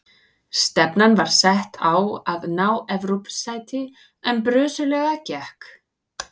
Stefnan var sett á að ná Evrópusæti en brösuglega gekk.